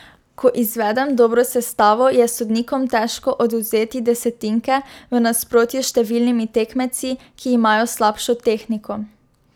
Ko izvedem dobro sestavo, je sodnikom težko odvzeti desetinke, v nasprotju s številnimi tekmeci, ki imajo slabšo tehniko.